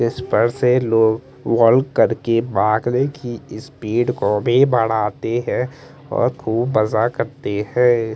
इस पर से लोग वाल्क करके भागने की स्पीड को भी बढ़ाते हैं और खूब मज़ा करते हैं।